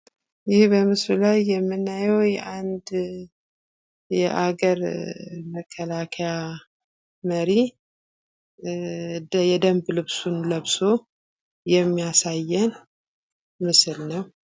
ይህ በምስሉ ላይ የምናየው የሀገር መከላከያ መሪ የደንብ ልብሱን ለብሶ የሚያሳየን ምስል ነው።